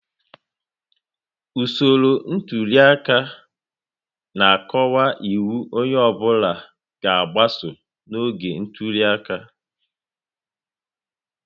Usoro ntuli aka na-akọwapụta iwu onye ọ bụla ga-agbaso n'oge ntuli aka